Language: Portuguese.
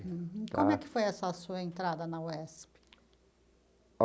Como é que foi essa sua entrada na UESP?